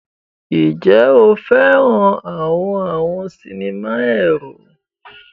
Ǹjẹ́ o fẹ́ràn àwọn àwọn sinimá ẹ̀rù?